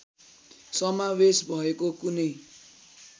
समावेश भएको कुनै